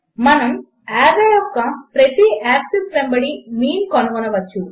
మనము ఆర్రే యొక్క ప్రతి యాక్సిస్ వెంబడి మీన్ కనుగొనవచ్చు